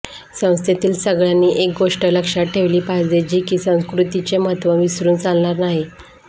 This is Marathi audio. संस्थेतील सगळ्यांनी एक गोष्ट लक्षात ठेवली पाहिजे की संस्कृतीचे महत्त्व विसरून चालणार नाही